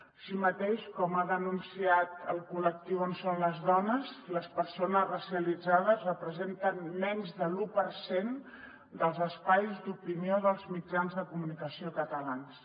així mateix com ha denunciat el col·lectiu on són les dones les persones racialitzades representen menys de l’u per cent dels espais d’opinió dels mitjans de comunicació catalans